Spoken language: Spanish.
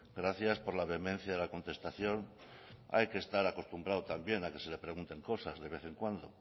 gracias por la vehemencia de la contestación hay que estar acostumbrado también a que se le pregunten cosas de vez en cuando